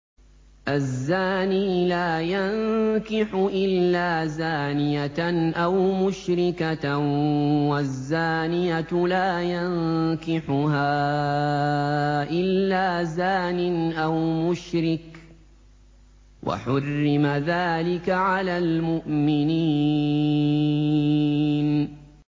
الزَّانِي لَا يَنكِحُ إِلَّا زَانِيَةً أَوْ مُشْرِكَةً وَالزَّانِيَةُ لَا يَنكِحُهَا إِلَّا زَانٍ أَوْ مُشْرِكٌ ۚ وَحُرِّمَ ذَٰلِكَ عَلَى الْمُؤْمِنِينَ